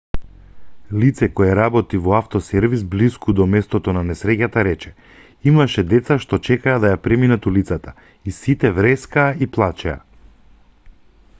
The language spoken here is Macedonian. лице кое работи во авто-сервис блиску до местото на несреќата рече имаше деца што чекаа да ја преминат улицата и сите врескаа и плачеа